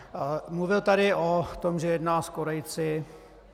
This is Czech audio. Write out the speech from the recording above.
Mluvil tady o tom, že jedná s Korejci.